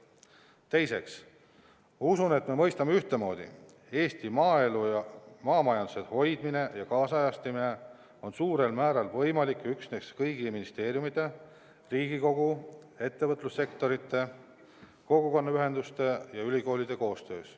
Teiseks, ma usun, et me mõistame ühtemoodi: Eesti maaelu ja maamajanduse hoidmine ja kaasajastamine on suurel määral võimalik üksnes kõigi ministeeriumide, Riigikogu, ettevõtlussektorite, kogukonnaühenduste ja ülikoolide koostöös.